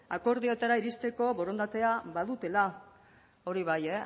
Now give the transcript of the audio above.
akordioetara iristeko borondatea badutela hori bai